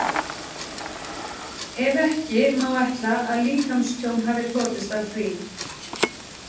Ef ekki, má ætla að líkamstjón hafi hlotist af því?